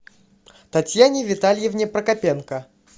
татьяне витальевне прокопенко